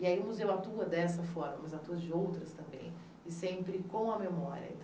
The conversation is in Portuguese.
E aí o museu atua dessa forma, mas atua de outras também, e sempre com a memória.